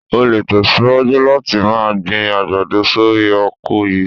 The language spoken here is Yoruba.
O lè tẹ̀síwájú láti máa gbin àgbàdo sórí oko yìí.